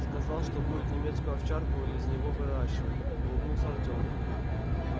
сказал что будет немецкую овчарку из него выращивать улыбнулся артём